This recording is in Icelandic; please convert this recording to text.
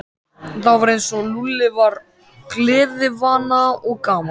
Það var eins og Lúlli væri gleðivana og gamall.